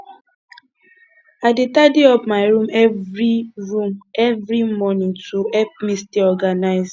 i dey tidy up my room every room every morning to help me stay organized